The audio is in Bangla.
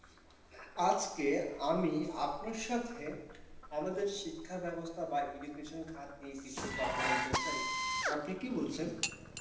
আজকে আমি আপনার সাথে আমাদের শিক্ষাব্যবস্থা বা education খাত নিয়ে কিছু কথা বলতে চাই। আপনি কি বলছেন?